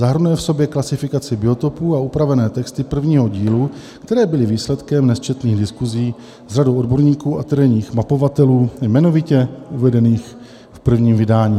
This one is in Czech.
Zahrnuje v sobě klasifikaci biotopů a upravené texty prvního dílu, které byly výsledkem nesčetných diskusí s řadou odborníků a terénních mapovatelů, jmenovitě uvedených v prvním vydání.